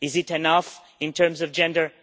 Is it enough in terms of gender?